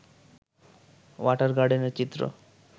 water গার্ডেনের চিত্র